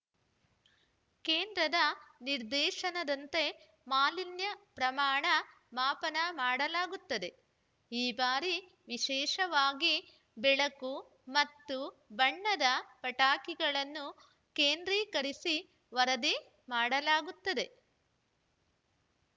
ಕೇಂದ್ರದ ನಿರ್ದೇಶನದಂತೆ ಮಾಲಿನ್ಯ ಪ್ರಮಾಣ ಮಾಪನ ಮಾಡಲಾಗುತ್ತದೆ ಈ ಬಾರಿ ವಿಶೇಷವಾಗಿ ಬೆಳಕು ಮತ್ತು ಬಣ್ಣದ ಪಟಾಕಿಗಳನ್ನು ಕೇಂದ್ರೀಕರಿಸಿ ವರದಿ ಮಾಡಲಾಗುತ್ತದೆ